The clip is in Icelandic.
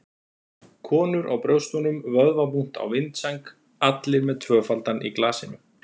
Konur á brjóstunum, vöðvabúnt á vindsæng- allir með tvöfaldan í glasinu.